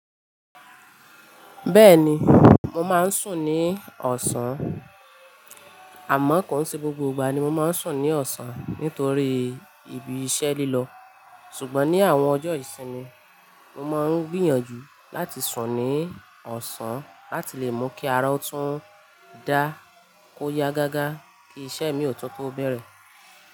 Bẹ́ẹ̀ni, mo máa ń sùn ní ọ̀sán. Àmọ́ kò n se gbogbo ìgbà ni mo máa ń sùn ní ọ̀sán nítorí ibi iṣẹ́ lílọ. Ṣùgbọ́n ní àwọn ọjọ́ ìsinmi, mo máa ń gbìyànjú láti sùn ní ọ̀sán láti lè mú kí ara ọ̀tún dá, kó ya gágá kí iṣẹ́ mi ò tún tó bẹ̀rẹ̀.